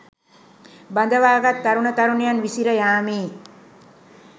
බඳවාගත් තරුණ තරුණියන් විසිරයාමේ